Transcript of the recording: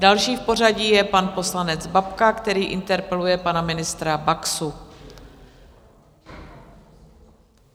Další v pořadí je pan poslanec Babka, který interpeluje pana ministra Baxu.